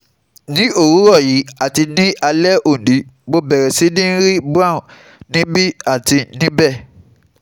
Ni owurọ yii ati ni alẹ oni Mo bẹrẹ si ri brown nibi ati nibẹ